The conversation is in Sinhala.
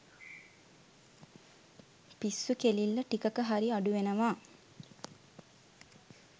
පිස්සු කෙලිල්ල ටිකක හරි අඩු වෙනවා.